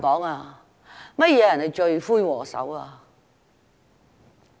甚麼人是罪魁禍首？